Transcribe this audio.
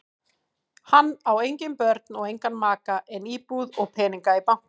Hann á engin börn og engan maka en íbúð og peninga í banka.